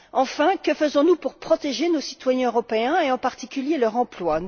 Enfin, que faisons nous pour protéger nos citoyens européens et, en particulier, leur emploi?